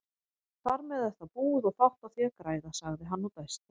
Þarmeð er það búið og fátt á því að græða, sagði hann og dæsti.